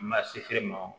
Ma se feere ma o